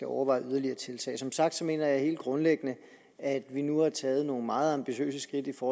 overveje yderligere tiltag som sagt mener jeg helt grundlæggende at vi nu har taget nogle meget ambitiøse skridt for